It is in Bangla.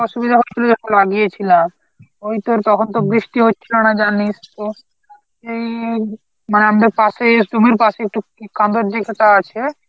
অসুবিধা হচ্ছিল যখন লাগিয়েছিলাম, ওই তোর তখন তো বৃষ্টি হচ্ছিল না জানিস তো এই মানে আমদের পাশেই জমির পাশেই একটু কাঁদার দিকে তা আছে